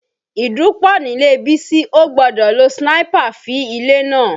Ìdun pọ̀ nílé Bísí, ó gbọ́dọ̀ lo sniper fí ilé náà